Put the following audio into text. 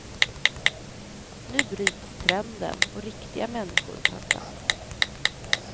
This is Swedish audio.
Nu bryts trenden och riktiga människor tar plats.